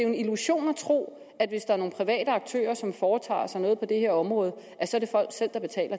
en illusion at tro at det er nogle private aktører som foretager sig noget på det her område